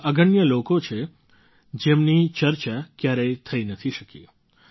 આવા અગણ્ય લોકો છે જેમની ચર્ચા ક્યારેય થઈ નથી શકી